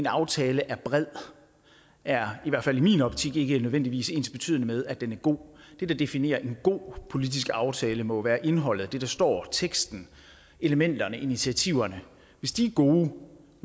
aftale er bred er i min optik ikke nødvendigvis ensbetydende med at den er god det der definerer en god politisk aftale må være indholdet af det der står i teksten elementerne initiativerne hvis de er gode